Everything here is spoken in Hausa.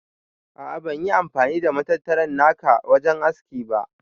A'a ban yi amfani da matattara naka wajen haski ba.